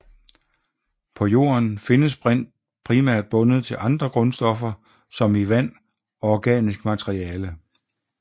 På Jorden findes brint primært bundet til andre grundstoffer som i vand og organisk materiale